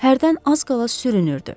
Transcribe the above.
Hərdən az qala sürünürdü.